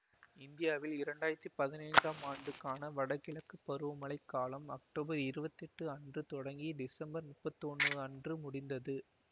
இந்தியாவில் இரண்டாயிரத்தி பதினைந்தாம் ஆண்டுக்கான வடகிழக்கு பருவமழை காலம் அக்டோபர் இருவத்தி எட்டு அன்று தொடங்கி டிசம்பர் முப்பத்தி ஒன்று அன்று முடிந்தது